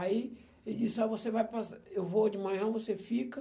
Aí ele disse, aí você vai passar, eu vou de manhã, você fica.